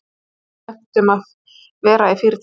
Það er eitthvað slæmt um að vera í Fyrirtækinu.